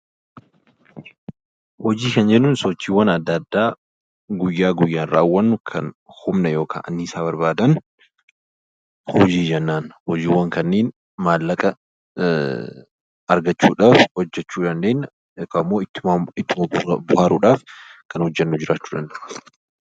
Hojii kan jennuun sochiiwwaan adda addaa guyyaa guyyaan raawwannu kan humna yookaan annisaa barbaadan 'Hojii' jennaan. Hojiiwwan kanneen maallaqa argachuu dhaaf hojjechuu dandeenya yookaan immoo itti bohaaruu dhaaf kan hojjennu jiraachuu danda'u.